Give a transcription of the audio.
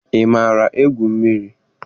Ị maara egwu mmiri?